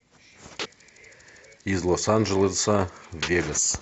из лос анджелеса в вегас